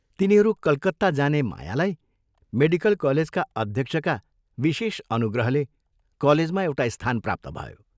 तिनीहरू कलकत्ता जाने मायालाई मेडिकल कलेजका अध्यक्षका विशेष अनुग्रहले कलेजमा एउटा स्थान प्राप्त भयो।